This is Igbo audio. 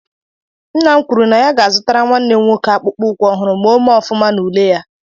Nna m kwuru na ya ga-azụtara nwanne m nwoke akpụkpọ ụkwụ ọhụrụ ma ọ mee ọfụma n'ule ya.